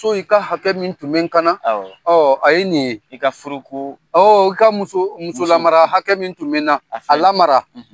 i ka hakɛ min tun bɛ kana, awɔ, a ye nin ye , i ka furu ko, i ka muso muso mara hakɛ min tun bɛ na, a lamara.